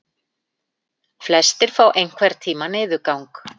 Flestir fá einhvern tíma niðurgang.